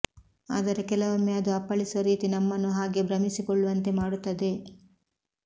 ಆದರೆ ಕೆಲವೊಮ್ಮೆ ಅದು ಅಪ್ಪಳಿಸುವ ರೀತಿ ನಮ್ಮನ್ನು ಹಾಗೆ ಭ್ರಮಿಸಿಕೊಳ್ಳುವಂತೆ ಮಾಡುತ್ತದೆ